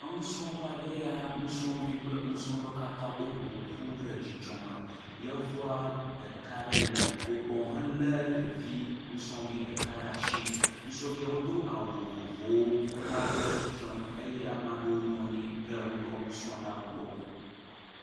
Enusrɔƒe ɖe ye ya, nusrɔ̃vi kple nusrɔ̃lawo katãa woƒo ƒu ɖe dzidzɔ me, yevua ɖeka le wo gbɔ helé ɖevi nusrɔ̃vi ɖeka ɖe asi, nusrɔ̃viwo wodo awu vovovowo, wo amea ɖewo le tsitre nu, ɖewo eye ame aɖewo anyi ɖe nusrɔ̃lawo gbɔ.